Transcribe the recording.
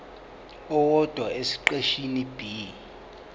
owodwa esiqeshini b